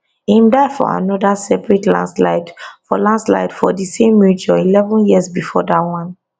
im die fo anoda separate landslide for landslide for di same region eleven years before dat one